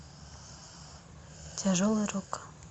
тяжелый рок